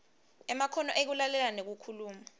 emakhono ekulalela nekukhuluma